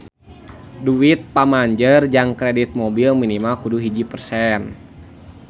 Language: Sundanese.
Duit pamanjer jang kredit mobil minimal kudu hiji persen